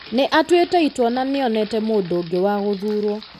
Nĩ aatuĩte itua na nĩ onete mũndũ ũngĩ wa gũthuurwo.